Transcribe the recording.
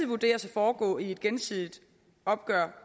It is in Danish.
vurderes at foregå i et gensidigt opgør